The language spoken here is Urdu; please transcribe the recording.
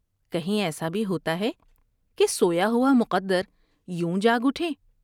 کہیں ایسا بھی ہوتا ہے کہ سویا ہوا مقدر یوں جاگ اٹھے ؟